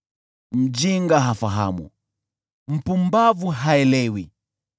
Mjinga hafahamu, mpumbavu haelewi,